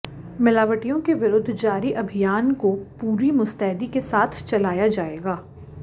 मिलावटियों के विरुद्ध जारी अभियान को पूरी मुस्तैदी के साथ चलाया जाएगा